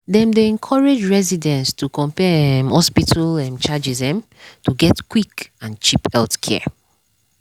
dem dey encourage residents to compare um hospital um charges um to get quick and cheap healthcare.